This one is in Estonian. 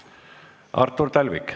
Artur Talvik.